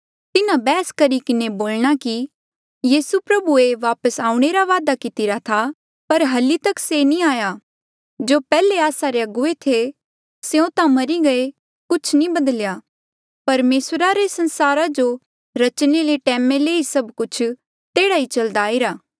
तिन्हा बैहस करी किन्हें बोलणा कि यीसू प्रभुए वापस आऊणें रा वादा कितिरा था पर हल्ली तक से नी आया जो पैहले आस्सा रे अगुवे थे स्यों ता मरी गये कुछ नी बधल्या परमेसरा रे संसारा जो रचणे ले टैमा ले ही सभ कुछ तेह्ड़ा ही चलदा आईरा